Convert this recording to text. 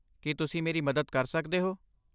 ਕੀ ਤੁਸੀਂ ਮੇਰੀ ਮਦਦ ਕਰ ਸਕਦੇ ਹੋ?